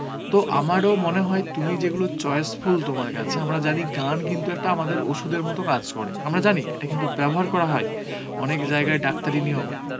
তো আমারও মনে হয় তুমি যেগুলো choiceful তোমার কাছে আমরা জানি গান কিন্তু একটা আমাদের ওষুধের মতো কাজ করে আমরা জানি এটা কিন্তু ব্যবহার করা হয় অনেক জায়গায় ডাক্তারি নিয়ম এ